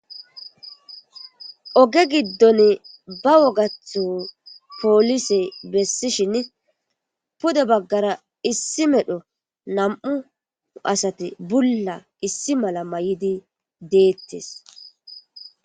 oge giddon ba wogatho poolise bessishin pude baggara issi medho nam7u asati bulla issi mala may7idi deettes